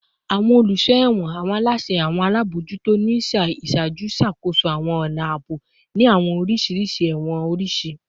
Awọn oluso ẹwọn / awọn alaṣẹ / awọn alabojuto ni iṣaaju ṣakoso awọn ọna aabo ni awọn oriṣi ẹwọn oriṣiriṣi